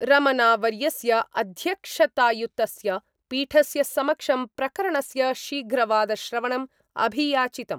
रमणा वर्यस्य अध्यक्षतायुतस्य पीठस्य समक्षं प्रकरणस्य शीघ्रवादश्रवणं अभियाचितम्।